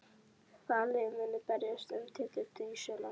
Hvaða lið munu berjast um titilinn í sumar?